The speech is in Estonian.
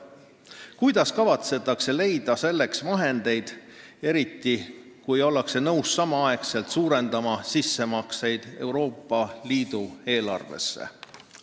Kuidas kavatsetakse leida selleks vahendeid, eriti, kui ollakse nõus samaaegselt suurendama sissemakseid EL-i eelarvesse?